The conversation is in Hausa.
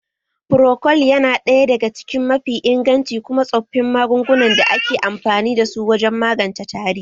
Frocold ya na ɗaya daga cikin mafi inganci kuma tsoffin magungunan da ake amfani da su wajen magance tari